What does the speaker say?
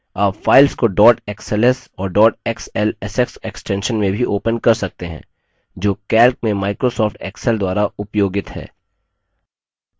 आप files को dot xls और dot xlsx extensions में भी open कर सकते हैं जो calc में microsoft excel द्वारा उपयोगित हैं